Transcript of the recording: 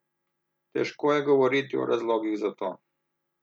Težko je govoriti o razlogih za to.